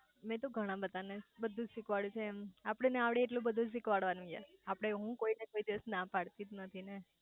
મેં તો ગણા બધા ને બધુજ શીખવાડ્યું છે એમ આપડે આવડે એટલું બધુજ શીખવાડવાનું યાર આપડે હું કોઈ દિવસ કોઈ ને ના પાડતીજ નથી ને